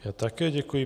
Já také děkuji.